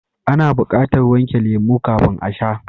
Ana bukatar wanke lemo kafin a sha.